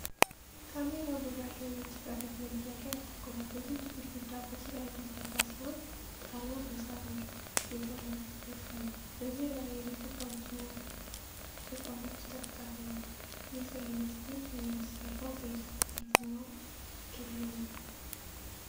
ካሜራው በባህላዊ የጭቃ ቤት መግቢያ ላይ አተኩሯል። የቤቱ ግድግዳ በጭቃ የተሰራ ሲሆን ጣሪያው በሳር የተለበጠ ነው ። በዙሪያው የቤት እቃዎችና ዕቃዎች ተበታትነዋል። የዚህ አይነት ቤት የሚሰራው በኢትዮጵያ የትኛው ክልል ነው?